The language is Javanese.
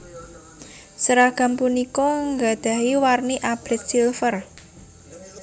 Seragam punika nggadahi warni abrit silver